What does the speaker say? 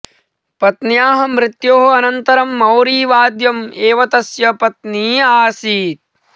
पत्न्याः मृत्योः अनन्तरं मौरीवाद्यम् एव तस्य पत्नी आसीत्